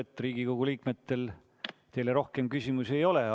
Tundub, et Riigikogu liikmetel teile rohkem küsimusi ei ole.